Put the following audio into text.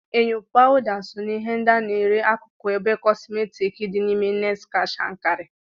Enyo, pawuda so na ihe ndị a na-ere n'akụkụ ebe kọsmetiki dị n'ime Next Cash and Carry